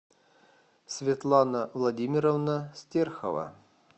светлана владимировна стерхова